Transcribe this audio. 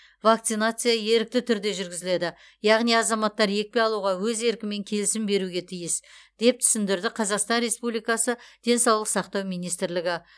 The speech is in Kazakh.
вакцинация ерікті түрде жүргізіледі яғни азаматтар екпе алуға өз еркімен келісім беруі тиіс деп түсіндірді қазақстан республикасы денсаулық сақтау министрлігі